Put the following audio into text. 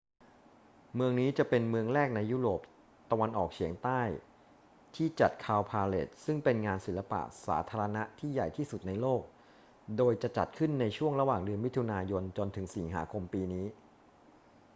เมืองนี้จะเป็นเมืองแรกในยุโรปตะวันออกเฉียงใต้ที่จัด cowparade ซึ่งเป็นงานศิลปะสาธารณะที่ใหญ่ที่สุดในโลก โดยจะจัดขึ้นในช่วงระหว่างเดือนมิถุนายนจนถึงสิงหาคมปีนี้